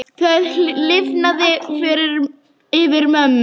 Það lifnaði yfir mömmu.